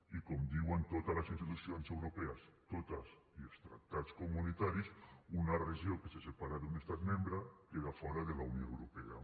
i com diuen totes les institucions europees totes i els tractats comunitaris una regió que se separa d’un estat membre queda fora de la unió europea